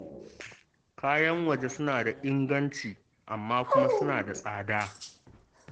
Kayan waje suna da inganci, amma kuma suna da tsada